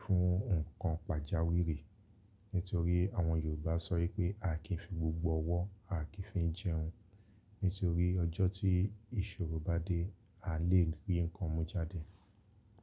fún nǹkan pàjáwìrì. Nítorí àwọn Yorùbá sọ wípé à kì ń fi gbogbo ọwọ́, à kì ń fi jẹun. Nítorí ọjọ́ tí ìṣòro bá dé, a lè rí ǹkan mú jáde.